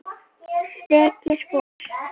Rek ég spor.